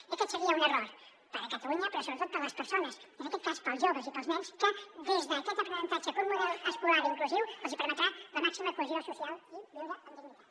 i aquest seria un error per a catalunya però sobretot per a les persones i en aquest cas per als joves i per als nens que des d’aquest aprenentatge un model escolar inclusiu els hi permetrà la màxima cohesió social i viure amb dignitat